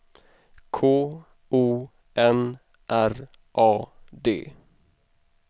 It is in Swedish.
K O N R A D